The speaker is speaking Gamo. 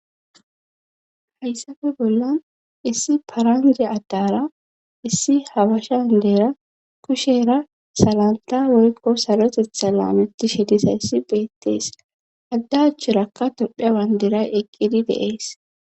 hayssafe bollan issi paranje addara issi hawashandeera kusheera salanta woykqo sarotetha laameti shedisayssi beettees addaacharakka tophiya bandiray eqqidi de,es